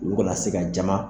Olu kana se ka jama